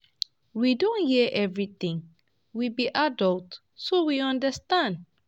We don hear everything, we be adults so we understand